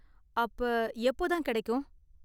அப்ப எப்போ தான் கிடைக்கும்?